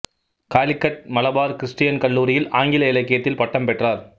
Calicut Malabar Christian கல்லூரியில் ஆங்கில இலக்கியத்தில் பட்டம் பெற்றார்